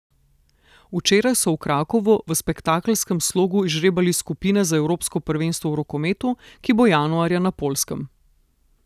Včeraj so v Krakovu v spektakelskem slogu izžrebali skupine za evropsko prvenstvo v rokometu, ki bo januarja na Poljskem.